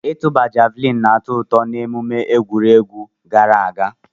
Ịtụba javuliini na-atọ ụtọ n'emume egwuregwu gara aga.